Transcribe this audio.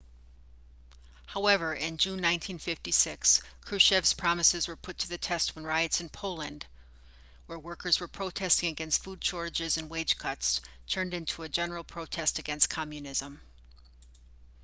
however in june 1956 krushchev's promises were put to the test when riots in poland where workers were protesting against food shortages and wage cuts turned into a general protest against communism